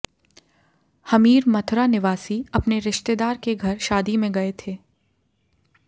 हमीर मथुरा निवासी अपने रश्तिेदार के घर शादी में गये थे